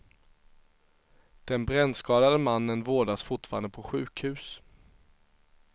Den brännskadade mannen vårdas fortfarande på sjukhus.